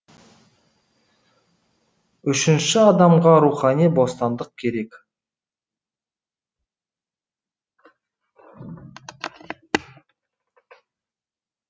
үшінші адамға рухани бостандық керек